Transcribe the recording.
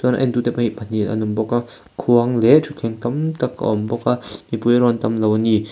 entute pawh hi pahnih an awm bawk a khuang leh thuthleng tam tak a awm bawk a mipui erawh an tam lo a ni.